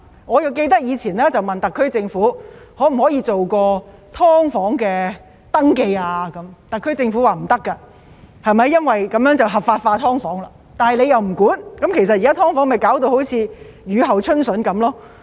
我記得以前曾詢問特區政府，可否進行"劏房"登記，特區政府表示不可以，因為這樣會將"劏房"合法化，但政府卻沒有規管，現在弄致"劏房"好像雨後春筍一樣。